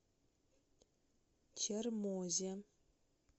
чермозе